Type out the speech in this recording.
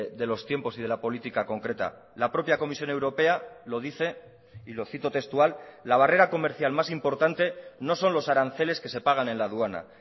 de los tiempos y de la política concreta la propia comisión europea lo dice y lo cito textual la barrera comercial más importante no son los aranceles que se pagan en la aduana